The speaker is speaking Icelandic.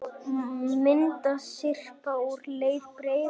Myndasyrpa úr leik Breiðabliks og KR